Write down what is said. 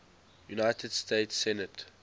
united states senate